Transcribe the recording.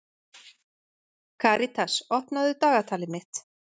Karitas, opnaðu dagatalið mitt.